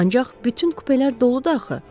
Ancaq bütün kupelər doludu axı.